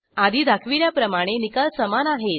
आधी दाखविल्याप्रमाणे निकाल समान आहेत